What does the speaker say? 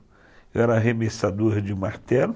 Eu era arremessador de martelo,